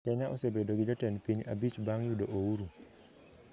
Kenya osebedo gi jotend piny abich bang` yudo ouru